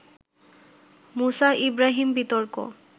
মুসা ইব্রাহীম বিতর্ক